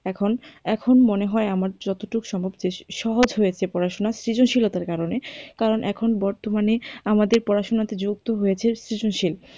এখন এখন মনে হয় আমার যতটুকু সহজ হয়েছে পড়াশুনা সৃজনশীলতার কারণে, কারণ এখন বর্তমানে আমাদের পরশুনাতে যুক্ত হয়েছে সৃজনশীল।